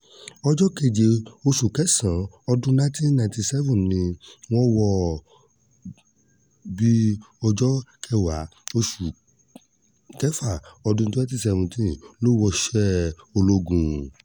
ọjọ́ keje oṣù kẹsàn-án ọdún nineteen ninety seven ni wọ́n wọ́n bí i ọjọ́ kẹwàá oṣù kẹfà ọdún twenty seventeen lọ wọṣẹ́ ológun